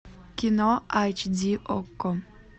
кино айч ди окко